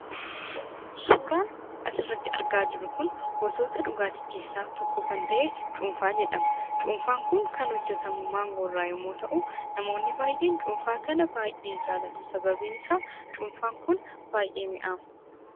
Suuraan asirratti argaa jirru kun gosoota dhugaatii keessaa tokko kan ta'e, Cuunfaa jedhama. Cuunfaan kan hojjetamu maangoo irraa yommuu ta'u, namoonni baay'een cuunfaa kana baay'ee jaallatu. Sababiin isaa, cuunfaan kun baay'ee mi'aawa.